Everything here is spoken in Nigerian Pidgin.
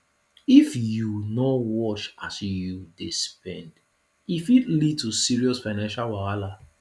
if yu no watch as yu dey spend e fit lead to serious financial wahala